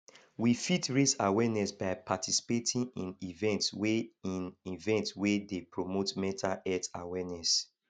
we fit raise awareness by participating in events wey in events wey dey promote mental health awareness